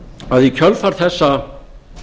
að í kjölfar þessa